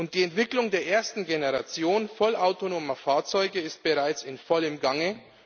Die Entwicklung der ersten Generation vollautonomer Fahrzeuge ist bereits in vollem Gange.